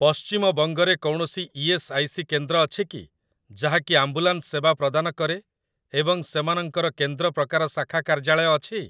ପଶ୍ଚିମବଙ୍ଗ ରେ କୌଣସି E S. I. C. କେନ୍ଦ୍ର ଅଛି କି ଯାହାକି ଆମ୍ବୁଲାନ୍ସ ସେବା ପ୍ରଦାନ କରେ ଏବଂ ସେମାନଙ୍କର କେନ୍ଦ୍ର ପ୍ରକାର ଶାଖା କାର୍ଯ୍ୟାଳୟ ଅଛି?